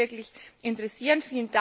Das würde mich wirklich interessieren.